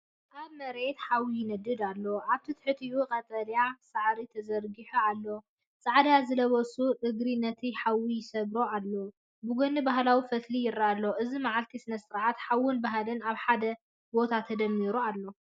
ኣብ መሬት ሓዊ ይነድድ ኣሎ፣ ኣብ ትሕቲኡ ቀጠልያ ሳዕሪ ተዘርጊሑ ኣሎ። ጻዕዳ ዝለበሱ እግሪ ነቲ ሓዊ ይሰግርዎ ኣለዉ፣ ብጎኒ ባህላዊ ፈትሊ ይረአ ኣሎ። እዚ መዓልቲ ስነ-ስርዓት፡ ሓውን ባህልን ኣብ ሓደ ቦታ ተደሚሩ እዩ።